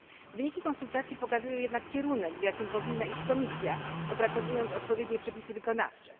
Wyniki konsultacji pokazują jednak kierunek, w jakim powinna iść Komisja, opracowując odpowiednie przepisy wykonawcze.